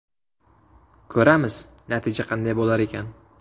Ko‘ramiz, natija qanday bo‘lar ekan.